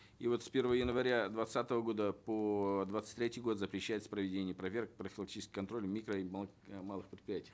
и вот с первого января двадцатого года по двадцать третий год запрещается проведение проверок профилактического контроля микро и малых предприятий